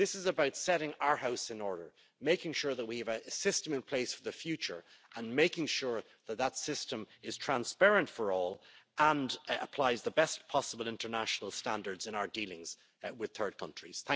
Brexit. This is about setting our house in order, making sure that we have a system in place for the future, and making sure that system is transparent for all, and applies the best possible international standards in our dealings with third countries.